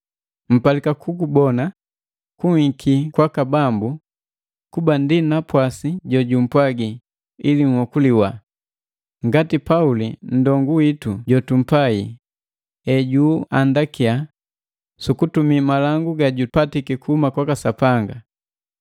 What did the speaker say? Mpalika kukubona kunhiki kwaka Bambu kuba ndi napwasi jojumpwagi ili nhokuliwa, ngati Pauli nndongu witu jotumpai ejuandakiya sukutumii malangu gajupatiki kuhuma kwaka Sapanga.